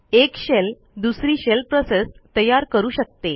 एक शेल दुसरी shell process तयार करू शकते